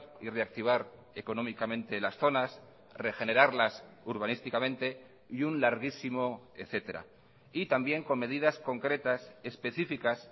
y reactivar económicamente las zonas regenerarlas urbanísticamente y un larguísimo etcétera y también con medidas concretas específicas